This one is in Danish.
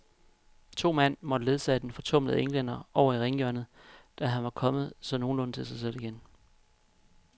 To mand måtte ledsage den fortumlede englænder over i ringhjørnet, da han var kommet så nogenlunde til sig selv igen.